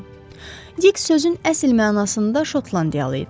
Dik sözün əsl mənasında Şotlandiyalı idi.